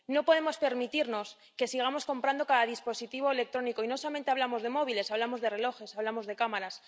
No podemos permitirnos seguir comprando un cargador para cada dispositivo electrónico, y no solamente hablamos de móviles. Hablamos de relojes, hablamos de cámaras.